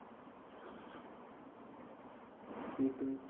সে তুই